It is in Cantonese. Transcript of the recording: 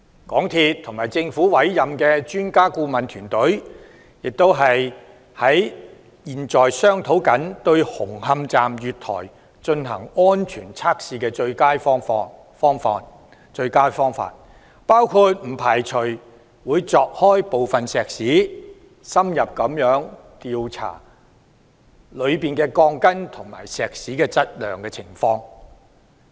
港鐵公司和政府委任的專家顧問團，亦正在商討對紅磡站月台進行安全測試的最佳方案，包括不排除會鑿開部分石屎、深入調查內部鋼筋和石屎的質量。